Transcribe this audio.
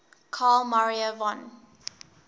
carl maria von